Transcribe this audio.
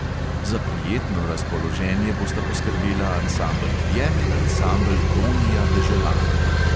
Za prijetno razpoloženje bosta poskrbela ansambel objem in ansambel tonija deželana.